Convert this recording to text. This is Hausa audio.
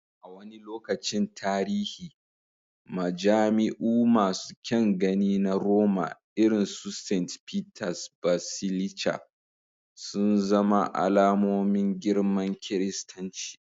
A wani lokacin tarihi, majami'u masu kyan gani na Roma, irin su St. Peter's Basilica, sun zama alamomin girman kiristanci.